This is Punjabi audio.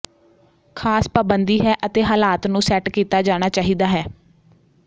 ਖਾਸ ਪਾਬੰਦੀ ਹੈ ਅਤੇ ਹਾਲਾਤ ਨੂੰ ਸੈੱਟ ਕੀਤਾ ਜਾਣਾ ਚਾਹੀਦਾ ਹੈ